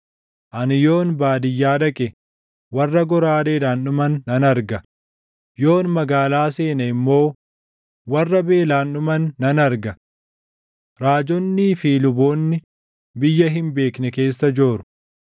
Ani yoon baadiyyaa dhaqe, warra goraadeedhaan dhuman nan arga; yoon magaalaa seene immoo, warra beelaan dhuman nan arga. Raajonnii fi luboonni biyya hin beekne keessa jooru.’ ”